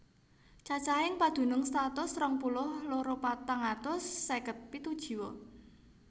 Cacahing padunung satus rong puluh loro patang atus seket pitu jiwa